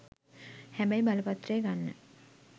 හැබැයි බලපත්‍රය ගන්න